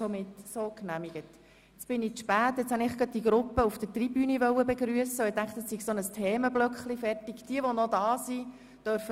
Wir sehen Sie vielleicht ein anderes Mal wieder auf der Strasse, wenn Sie mit Ihren Rollkoffern für den Unterricht anrollen.